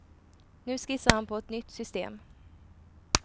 Nu skissar han på ett nytt system.